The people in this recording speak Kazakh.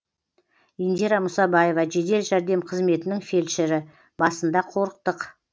индира мұсабаева жедел жәрдем қызметінің фельдшері басында қорықтық